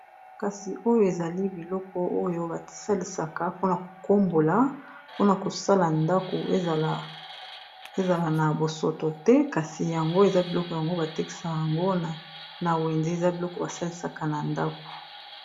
kasi oyo ezali biloko oyo basalisaka mpona kokombola mpona kosala ndako ezala na bosoto te kasi yango eza biloko yango batekisaka yango a na wenze eza biloko basalisaka na ndako